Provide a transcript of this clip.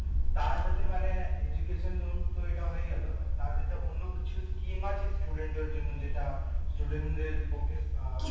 তার হচ্ছে মানে education loan তো এটা হয়ে গেলো তার যেটা অন্য কিছু scheme আছে student দের জন্য যেটা student দের পক্ষে আহ